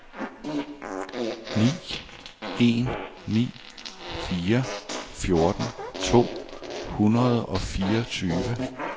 ni en ni fire fjorten to hundrede og fireogtyve